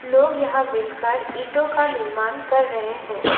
लोग यहां मिल कर ईटों का निर्माण कर रहे हैं।